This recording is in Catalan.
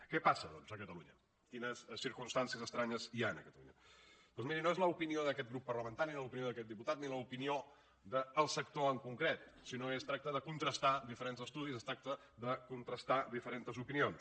què passa doncs a catalunya quines circumstàncies estranyes hi han a catalunya doncs miri no és l’opinió d’aquest grup parlamentari ni l’opinió d’aquest diputat ni l’opinió del sector en concret sinó que es tracta de contrastar diferents estudis es tracta de contrastar diferents opinions